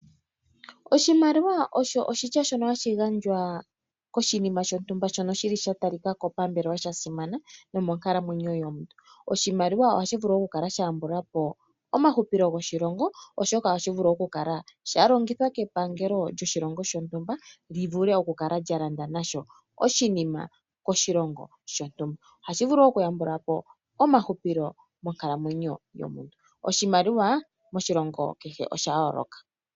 Oshilimaliwa osho oshitya shono hashi gandjwa koshinima shontumba, shono shili shata likako pambelewa shasimana nomonkalamwenyo yomuntu. Oshimaliwa osha shivulu okukala sha yambulapo omahupilo goshilongo oshoka ohashi vulu okukala shalongithwa kepangelo lyoshilongo shontumba li vule okukala lyalanda nasho oshinima oshilongo shontumba, ohashi vulu wo okuyambulapo omahupilo monkalamwenyo yomuntu oshimaliwa moshilongo kehe osha yoloka.